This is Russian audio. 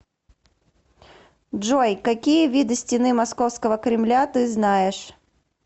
джой какие виды стены московского кремля ты знаешь